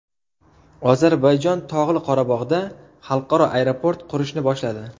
Ozarbayjon Tog‘li Qorabog‘da xalqaro aeroport qurishni boshladi.